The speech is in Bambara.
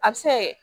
A bɛ se kɛ